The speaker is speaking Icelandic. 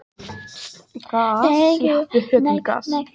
Því þarf gasið í loftbelgnum eða loftskipinu að vera til muna léttara en loft.